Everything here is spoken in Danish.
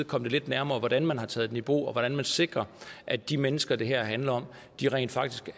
komme lidt nærmere hvordan man har taget den i brug og hvordan man sikrer at de mennesker det her handler om rent faktisk